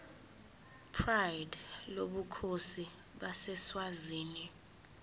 pride lobukhosi baseswazini